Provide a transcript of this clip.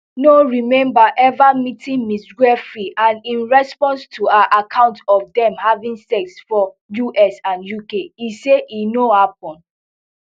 no remember ever meeting ms giuffre and in response to her account of dem having sex for us and uk e say e no happen